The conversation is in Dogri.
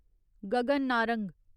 गगन नारंग